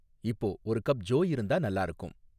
இப்போ ஒரு கப் ஜோ இருந்தா நல்லா இருக்கும்